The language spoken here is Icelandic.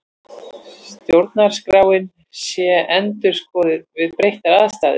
Stjórnarskráin sé endurskoðuð við breyttar aðstæður